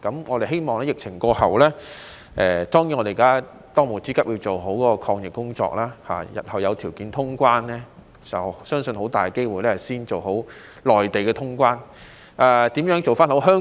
我們希望疫情過後——當務之急當然是要做好抗疫工作——日後若有條件通關，相信很大機會是要先做好與內地的通關工作。